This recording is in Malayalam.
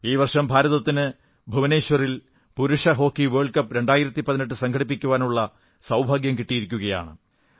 ഈ വർഷം ഭാരതത്തതിന് ഭുവനേശ്വറിൽ പുരുഷ ഹോക്കി വേൾഡ് കപ്പ് 2018 സംഘടിപ്പിക്കാനുള്ള സൌഭാഗ്യം കിട്ടിയിരിക്കയാണ്